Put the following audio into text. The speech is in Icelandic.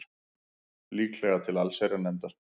Líklega til allsherjarnefndar